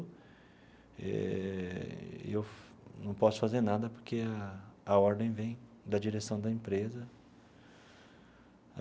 Eh e eu não posso fazer nada porque a a ordem vem da direção da empresa.